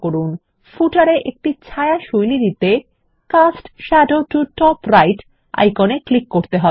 উদাহরণস্বরূপ পাদলেখ তে একটি ছায়া শৈলী দিতে cast shadow to top right icon এ ক্লিক করতে হবে